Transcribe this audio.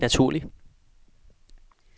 naturlig